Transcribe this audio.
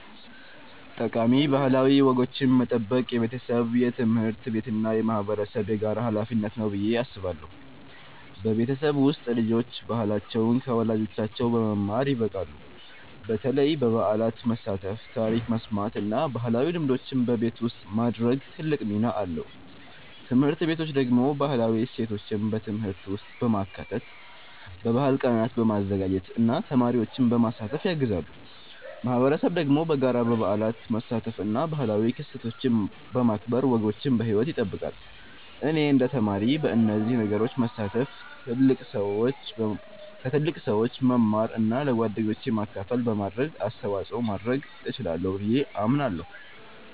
ጠቃሚ ባህላዊ ወጎችን መጠበቅ የቤተሰብ፣ የትምህርት ቤት እና የማህበረሰብ የጋራ ሀላፊነት ነው ብዬ አስባለሁ። በቤተሰብ ውስጥ ልጆች ባህላቸውን ከወላጆቻቸው በመማር ይበቃሉ፣ በተለይ በበዓላት መሳተፍ፣ ታሪክ መስማት እና ባህላዊ ልምዶችን በቤት ውስጥ ማድረግ ትልቅ ሚና አለው። ትምህርት ቤቶች ደግሞ ባህላዊ እሴቶችን በትምህርት ውስጥ በማካተት፣ በባህል ቀናት በማዘጋጀት እና ተማሪዎችን በማሳተፍ ያግዛሉ። ማህበረሰብ ደግሞ በጋራ በበዓላት መሳተፍ እና ባህላዊ ክስተቶችን በማክበር ወጎችን በሕይወት ይጠብቃል። እኔ እንደ ተማሪ በእነዚህ ነገሮች መሳተፍ፣ ከትልቅ ሰዎች መማር እና ለጓደኞቼ ማካፈል በማድረግ አስተዋጽኦ ማድረግ እችላለሁ ብዬ አምናለሁ።